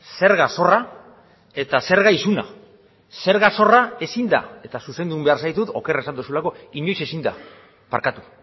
zerga zorra eta zerga isuna zerga zorra ezin da eta zuzendu egin behar zaitut oker esan duzulako inoiz ezin da barkatu